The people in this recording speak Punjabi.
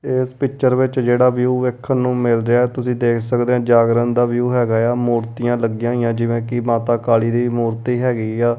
ਇਸ ਪਿੱਚਰ ਵਿੱਚ ਜਿਹੜਾ ਵਿਊ ਵੇਖਣ ਨੂੰ ਮਿਲ ਰਿਹਾ ਤੁਸੀ ਦੇਖ ਸਕਦੇ ਹੋ ਜਾਗਰਨ ਦਾ ਵਿਊ ਹੈਗਾ ਆ ਮੂਰਤੀਆਂ ਲੱਗੀਆਂ ਹੋਈਆਂ ਜਿਵੇਂ ਕਿ ਮਾਤਾ ਕਾਲੀ ਦੀ ਮੂਰਤੀ ਹੈਗੀ ਆ।